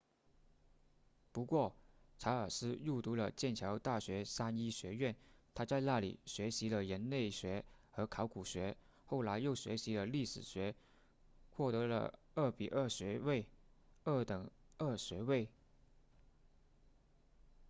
不过查尔斯入读了剑桥大学三一学院他在那里学习了人类学和考古学后来又学习了历史学获得了 2:2 学位二等二学位